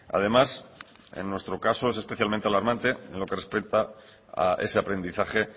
además en nuestro caso es especialmente alarmante en lo que respecta a ese aprendizaje